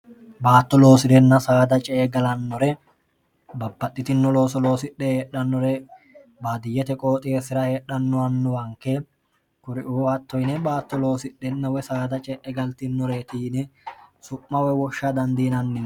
baatto loosi'renna saada ce e galannore babbaxxitinno looso loosidhe heedhannore baadiyyete qooxeessira heedhannowannowanke kuri uuhatto yine baatto loosidhennowe saada ce'e galtinore tiine su'mawe woshsha dandiinannino